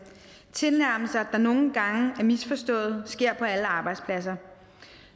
tilnærmelser der nogle gange er misforstået sker på alle arbejdspladser